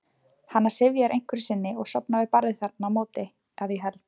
Hana syfjar einhverju sinni og sofnar við barðið þarna á móti, að ég held.